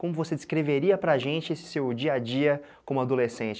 Como você descreveria para a gente esse seu dia a dia como adolescente?